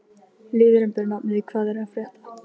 Liðurinn ber nafnið: Hvað er að frétta?